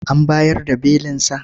An bayar da belinsa?